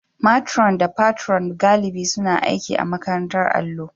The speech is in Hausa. matron da Patron galibi suna aiki a makarantar allo